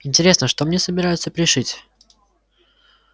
интересно что мне собираются пришить